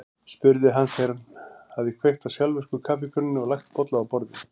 spurði hann þegar hún hafði kveikt á sjálfvirku kaffikönnunni og lagt bolla á borðið.